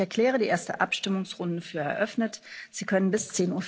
Ich erkläre die erste Abstimmungsrunde für eröffnet. Sie können jetzt bis